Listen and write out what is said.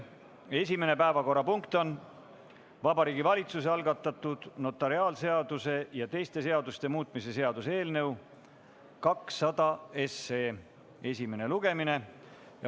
Esimene päevakorrapunkt on Vabariigi Valitsuse algatatud notariaadiseaduse ja teiste seaduste muutmise seaduse eelnõu 200 esimene lugemine.